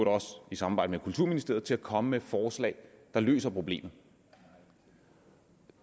også i samarbejde med kulturministeriet til at komme med et forslag der løser problemet